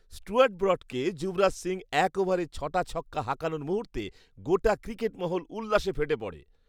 Stewart ব্রডকে যুবরাজ সিং এক ওভারে ছ'টা ছক্কা হাঁকানোর মুহূর্তে গোটা ক্রিকেটমহল উল্লাসে ফেটে পড়ে।